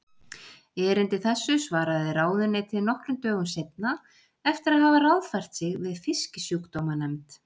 Erindi þessu svaraði ráðuneytið nokkrum dögum seinna eftir að hafa ráðfært sig við Fisksjúkdómanefnd.